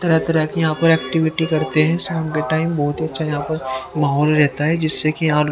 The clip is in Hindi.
तरह-तरह की यहां पर एक्टिविटी करते हैं शाम के टाइम बहोत अच्छा यहां पर मोहाल रहता है जिससे कि यहां --